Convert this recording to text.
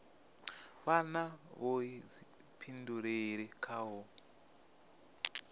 vha na vhuḓifhinduleli kha u